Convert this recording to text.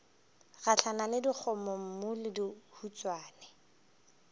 gahlana le dikgomommuu le dihuswane